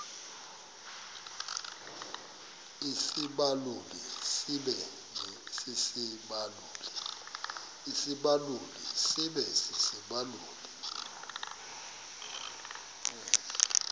isibaluli sibe sisibaluli